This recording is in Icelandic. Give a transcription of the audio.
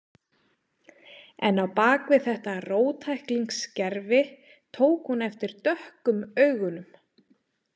En á bak við þetta róttæklingsgervi tók hún eftir dökkum augunum.